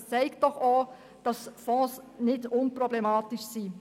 Auch dies zeigt, dass Fonds nicht unproblematisch sind.